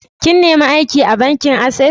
Ka nime aiki a bankin Access?